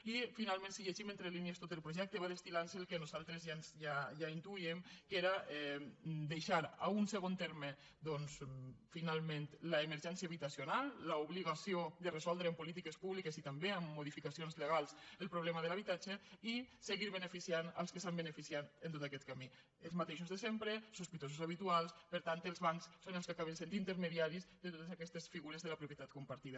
i finalment si llegim entre línies tot el projecte va destilxar en un segon terme doncs finalment l’emergència habitacional l’obligació de resoldre amb polítiques públiques i també amb modificacions legals el problema de l’habitatge i seguir beneficiant els que se n’han beneficiat en tot aquest camí els mateixos de sempre sospitosos habituals per tant els bancs són els que acaben sent intermediaris de totes aquestes figures de la propietat compartida